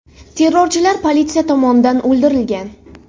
Terrorchilar politsiya tomonidan o‘ldirilgan.